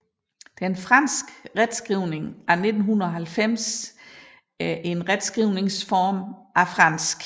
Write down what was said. Den franske retskrivning af 1990 er en retskrivningsreform af fransk